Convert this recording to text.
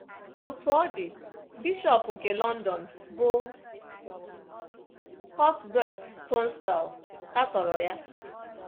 Otú ọ dị, bishọp nke London, bụ́ Cuthbert Tunstall, katọrọ ya.